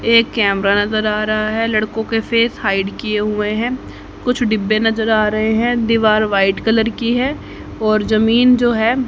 एक कैमरा नजर आ रहा है लड़कों के फेस हाइड किए हुए हैं कुछ डिब्बे नजर आ रहे हैं दीवार व्हाइट कलर की है और जमीन जो है--